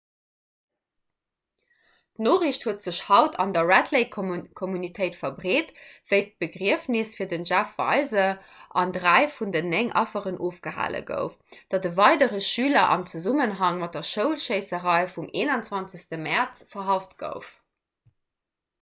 d'noriicht huet sech haut an der 'red lake'-communautéit verbreet wéi d'begriefnes fir den jeff weise an dräi vun den néng affer ofgehale gouf datt e weidere schüler am zesummenhang mat der schoulschéisserei vum 21. mäerz verhaft gouf